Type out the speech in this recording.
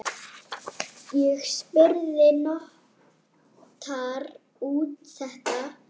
Ég spurði: Notar þú þetta?